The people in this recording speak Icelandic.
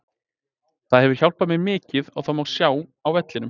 Það hefur hjálpað mér mikið og það má sjá á vellinum.